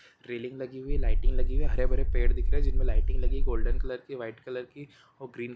railing लगी हुई है लाइटिंग लगी हुयी है हरे भरे पेड़ दिख रहे है जिनमें लाय्टिंग लगी है गोल्डन कलर की वाईट कलर की और ग्रीन--